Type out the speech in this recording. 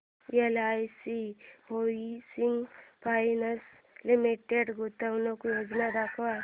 LIC housing finance limited गुंतवणूक योजना दाखव